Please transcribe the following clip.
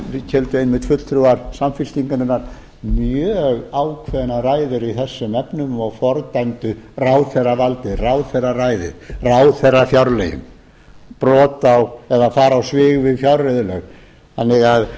þá héldu einmitt fulltrúar samfylkingarinnar mjög ákveðna ræður í þessum efnum og fordæmdu ráðherravaldið ráðherraræðið ráðherrafjárlögin brot eða fara á svig við fjárreiðulög þannig að